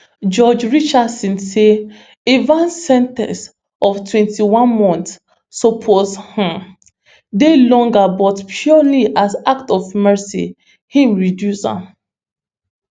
judge richardson say evans sen ten ce of twenty-one months suppose um dey longer but purely as act of mercy im reduce am